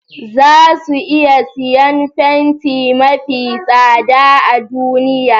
Za su iya siyan fenti mafi tsada a duniya